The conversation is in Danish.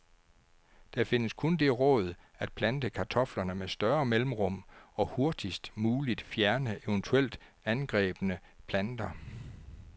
Der findes kun det råd at plante kartoflerne med større mellemrum, og hurtigst muligt fjerne eventuelt angrebne planter.